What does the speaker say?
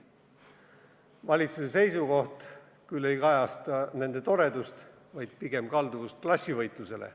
Kuid valitsuse seisukoht ei kajasta mitte nende toredust, vaid pigem kalduvust klassivõitlusele.